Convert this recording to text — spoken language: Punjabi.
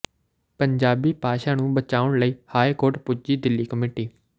ਪੰਜਾਬੀ ਭਾਸ਼ਾ ਨੂੰ ਬਚਾਉਣ ਲਈ ਹਾਈ ਕੋਰਟ ਪੁੱਜੀ ਦਿੱਲੀ ਕਮੇਟੀ